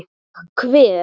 Ég kveð.